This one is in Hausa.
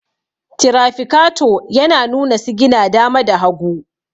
tirafikato yana nuna sigina dama da hagu